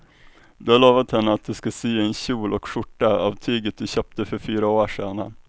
Du har lovat henne att du ska sy en kjol och skjorta av tyget du köpte för fyra år sedan.